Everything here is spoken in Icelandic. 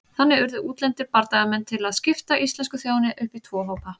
Þannig urðu útlendir bardagamenn til að skipta íslensku þjóðinni upp í tvo hópa.